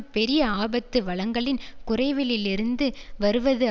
பெரிய ஆபத்து வளங்களின் குறைவிலிருந்து வருவது